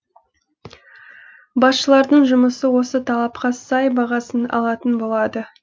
басшылардың жұмысы осы талапқа сай бағасын алатын болады